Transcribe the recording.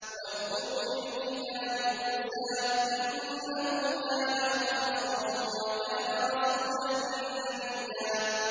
وَاذْكُرْ فِي الْكِتَابِ مُوسَىٰ ۚ إِنَّهُ كَانَ مُخْلَصًا وَكَانَ رَسُولًا نَّبِيًّا